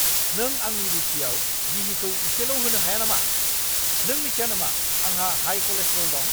नों आंनि रुथियाव गिहिखौ इसेल' होनो हाया नामा? नों मिथिया नामा आंहा हाइ कलेस्ट्रल दं?